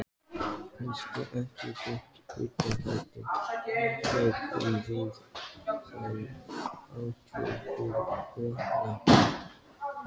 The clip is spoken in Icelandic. Kannski ekki beint undanhald, hugsuðum við, en harðvítug varnarbarátta.